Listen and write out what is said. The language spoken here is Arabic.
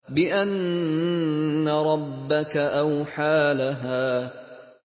بِأَنَّ رَبَّكَ أَوْحَىٰ لَهَا